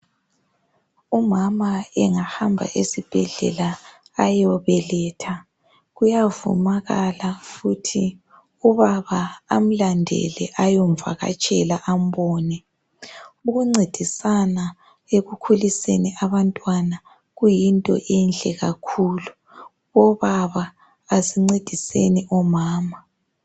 umama engahamba esibhedlela ayobeletha kuyavumakala ukuthi ubaba amlandele ayomvakatshela ambone ukuncedisana ekukhuliseni abantwana kuyinto enhle kakhulu obaba asincediseni omama